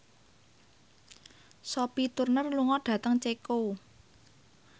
Sophie Turner lunga dhateng Ceko